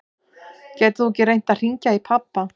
Getur þú ekki reynt að hringja í pabba?